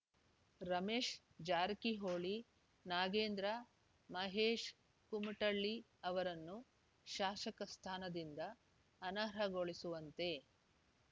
ರಮೇಶ್ ಜಾರಕಿಹೊಳಿ ನಾಗೇಂದ್ರ ಮಹೇಶ್ ಕುಮಟಳ್ಳಿ ಅವರನ್ನು ಶಾಸಕ ಸ್ಥಾನದಿಂದ ಅನರ್ಹಗೊಳಿಸುವಂತೆ